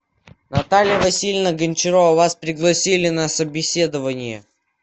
наталья васильевна гончарова вас пригласили на собеседование